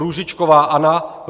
Růžičková Anna